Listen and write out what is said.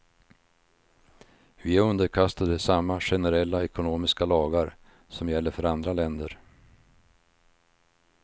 Vi är underkastade samma generella ekonomiska lagar som gäller för andra länder.